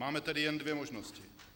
Máme tedy jen dvě možnosti.